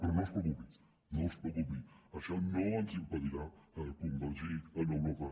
però no es preocupi no es preocupi això no ens impedirà convergir amb europa